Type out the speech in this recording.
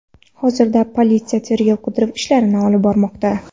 Hozirda politsiya tergov-qidiruv ishlarini olib bormoqda.